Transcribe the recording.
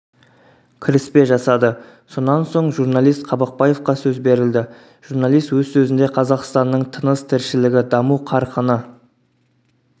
кіріспе жасады сонан соң журналист қабақбаевқа сөз берілді журналист өз сөзінде қазақстанның тыныс-тіршілігі даму қарқыны